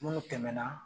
Minnu tɛmɛna